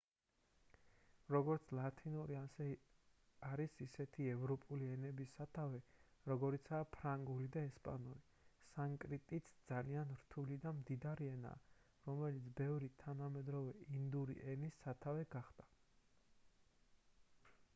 როგორც ლათინური არის ისეთი ევროპული ენების სათავე როგორიცაა ფრანგული და ესპანური სანსკრიტიც ძალიან რთული და მდიდარი ენაა რომელიც ბევრი თანამედროვე ინდური ენის სათავე გახდა